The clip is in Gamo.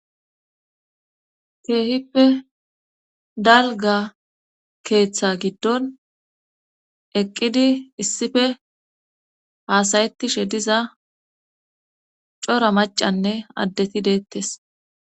keehippe dalga keeththa giddon eqqidi issife haasayettishe diza cora macanne addeti deettes